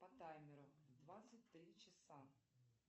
по таймеру двадцать три часа